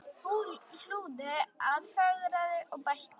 Hlúði að, fegraði og bætti.